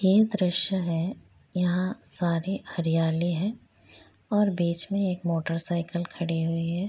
ये दृश्य है यहा सारे हरियाली हैं और बीच एक मोटर साइकल खड़ी हुई है।